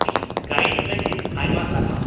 -ᱤᱧ ᱜᱟᱭᱤᱰ ᱞᱟᱜᱤᱫ ᱟᱭᱢᱟ ᱥᱟᱨᱦᱟᱣ ᱾